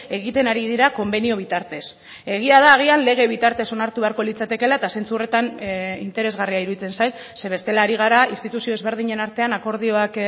egiten ari dira konbenio bitartez egia da agian lege bitartez onartu beharko litzatekela eta zentzu horretan interesgarria iruditzen zait ze bestela ari gara instituzio ezberdinen artean akordioak